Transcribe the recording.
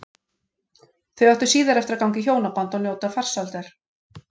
Þau áttu síðar eftir að ganga í hjónaband og njóta farsældar.